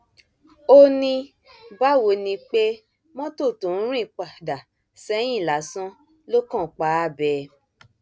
ó ní báwo ni pé mọtò tó ń rìn padà sẹyìn lásán ló kàn pa á bẹẹ